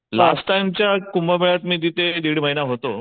Last time च्या कुंभमेळात मी तिथे दीड महिना होतो.